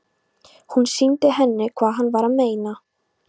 Hann sýndi henni hvað hann var að meina.